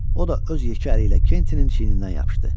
O da öz yekə əli ilə Kentinin çiyinindən yapışdı.